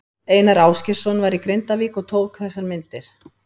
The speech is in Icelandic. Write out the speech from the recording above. Einar Ásgeirsson var í Grindavík og tók þessar myndir.